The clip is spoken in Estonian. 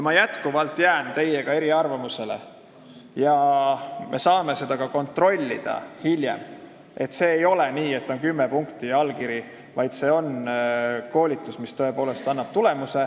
Ma jätkuvalt jään eriarvamusele: ei ole nii, et on kümme punkti ja allkiri, vaid see koolitus annab tõepoolest tulemuse.